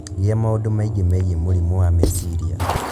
Gĩa maũndũ maingĩ megiĩ mũrimũ wa meciria